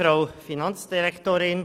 Das ist der Fall.